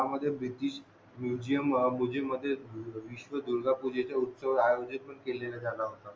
हा ह्या मध्ये ब्रिटिश मुसेम मध्ये विश्व दुर्गा पूजेचा उत्सव आयोजित केले जाणार